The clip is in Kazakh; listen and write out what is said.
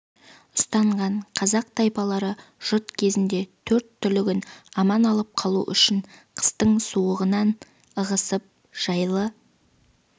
ұстанған қазақ тайпалары жұт кезінде төрт түлігін аман алып қалу үшін қыстың суығынан ығысып жайлы